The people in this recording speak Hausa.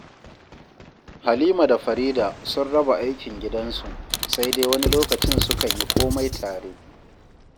Halima da Farida sun raba aikin gidansu, sai dai wani lokacin sukan yi komai tare